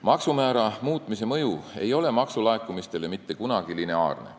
Maksumäära muutmise mõju maksulaekumistele ei ole mitte kunagi lineaarne.